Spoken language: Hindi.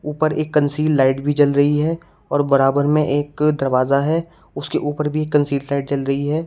ऊपर एक कंसील लाइट भी जल रही है और बराबर में एक दरवाजा है उसके ऊपर भी कंसील लाइट जल रही है।